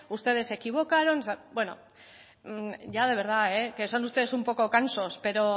ustedes se equivocaron o sea bueno ya de verdad que son ustedes un poco cansos pero